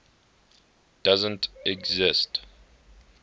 doesn t exist